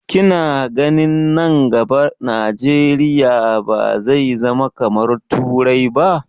Ki na ganin nan gaba Najeriya ba zai zama kamar turai ba?